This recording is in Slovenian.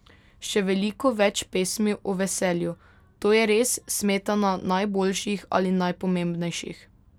Še veliko več pesmi o veselju, to je res smetana najboljših ali najpomembnejših.